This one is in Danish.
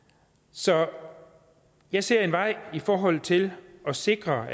så jeg ser en vej i forhold til at sikre